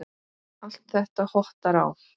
Allt þetta hottar á.